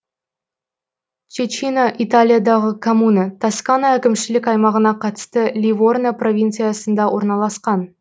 чечина италиядағы коммуна тоскана әкімшілік аймағына қарасты ливорно провинциясында орналасқан